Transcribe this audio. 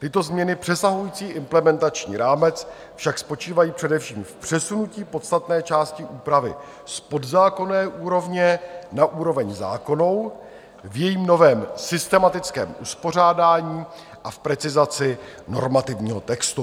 Tyto změny přesahující implementační rámec však spočívají především v přesunutí podstatné části úpravy z podzákonné úrovně na úroveň zákonnou v jejím novém systematickém uspořádání a v precizaci normativního textu.